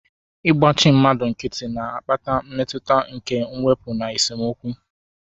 Igbachi mmadu nkiti na-akpata mmetụta nke mwepu na esemokwu.